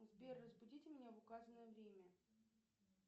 сбер разбудите меня в указанное время